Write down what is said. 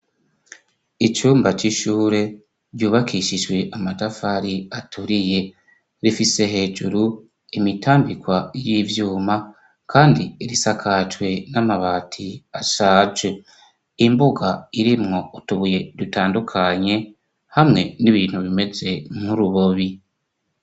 Icumba c'ishure ryubakishijwe amatafari aturiye rifise hejuru imitambikwa y'ibyuma kandi risakajwe n'amabati ashaje imbuga irimwo utubuye dutandukanye hamwe n'ibintu bimeze nk'urubobi.